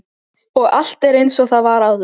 Og allt er einsog það var áður.